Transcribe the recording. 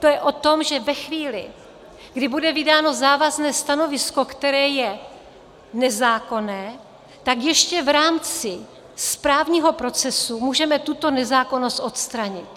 To je o tom, že ve chvíli, kdy bude vydáno závazné stanovisko, které je nezákonné, tak ještě v rámci správního procesu můžeme tuto nezákonnost odstranit.